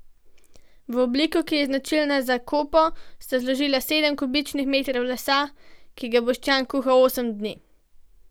V obliko, ki je značilna za kopo, sta zložila sedem kubičnih metrov lesa, ki ga Boštjan kuha osem dni.